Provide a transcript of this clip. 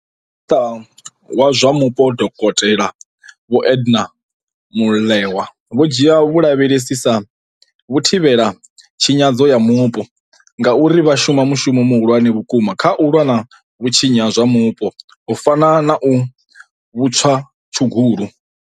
Minisiṱa wa zwa Mupo Dokote Vho Edna Molewa vho dzhia vhalavhelesi sa vhathivhelatshinyadzo ya mupo ngauri vha shuma mushumo muhulwane vhukuma kha u lwa na vhutshinyi ha zwa mupo, u fana na vhutswatshugulu.